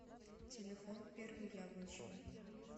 телефон первый яблочный